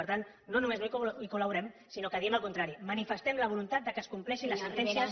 per tant no només no hi col·laborem sinó que diem el contrari manifestem la voluntat que es compleixin les sentències